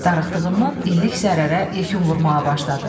Darıxdığından illik zərərə yekun vurmağa başladı.